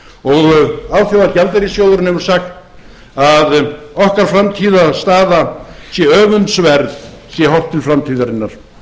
og alþjóðagjaldeyrissjóðurinn hefur sagt að okkar framtíðarstaða sé öfundsverð sé horft til framtíðarinnar